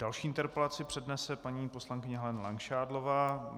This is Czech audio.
Další interpelaci přednese paní poslankyně Helena Langšádlová.